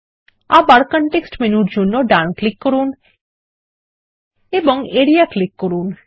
আবার কনটেক্সট মেনুর জন্য ডান ক্লিক করুন এবং আরিয়া ক্লিক করুন